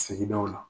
Sigidaw la